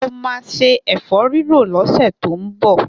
Mo ma se ẹ̀fọ́rírò lọ́sẹ̀ tó ń bọ̀.